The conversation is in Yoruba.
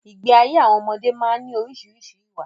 Ìgbé ayé àwọn ọmọdé má ń ní orísìírísìí ìwà